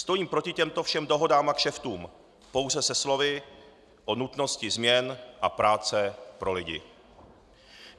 Stojím proti těmto všem dohodám a kšeftům pouze se slovy o nutnosti změn a práce pro lidi.